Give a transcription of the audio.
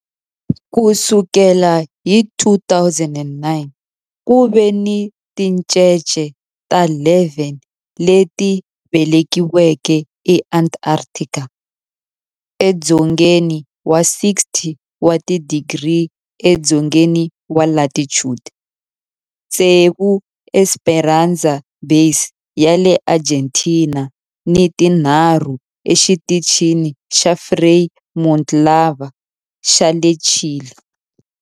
Ku sukela hi 2009, ku ve ni tincece ta 11 leti velekiweke eAntarctica, edzongeni wa 60 wa tidigri edzongeni wa latitude, tsevu eEsperanza Base ya le Argentina ni tinharhu eXitichini xa Frei Montalva xa le Chile.